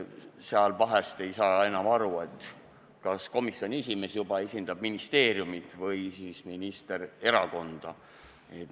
Siis ei saa vahel enam aru, kas komisjoni esimees esindab juba ministeeriumit või siis minister erakonda.